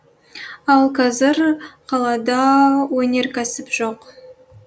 ал қазір қалада өнеркәсіп жоқ